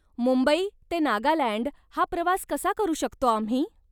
मुंबई ते नागालँड हा प्रवास कसा करू शकतो आम्ही?